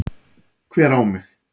Hver á mig?